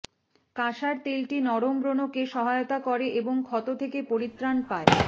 কাসার তেলটি নরম ব্রণকে সহায়তা করে এবং ক্ষত থেকে পরিত্রাণ পায়